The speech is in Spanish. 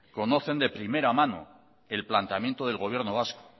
conocen de primera mano el planteamiento del gobierno vasco